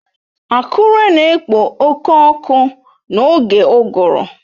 Akure na-ekpo oke ọkụ n'oge uguru